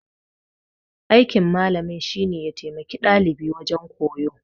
Aikin malamin shine ya taimaki dalibi wajen koyo.